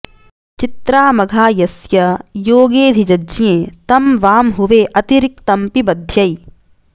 चि॒त्राम॑घा॒ यस्य॒ योगे॑ऽधिजज्ञे॒ तं वां॑ हु॒वे अति॑ रिक्तं॒ पिब॑ध्यै